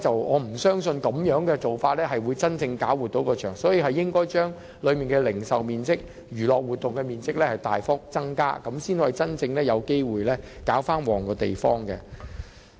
我不相信現時的做法能夠真正作出改善，只有將當中的零售面積和娛樂活動面積大幅增加，才能真正有機會令場地興旺起來。